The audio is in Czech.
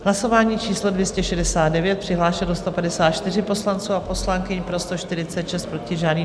Hlasování číslo 269, přihlášeno 154 poslanců a poslankyň, pro 146, proti žádný.